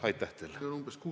Aitäh teile!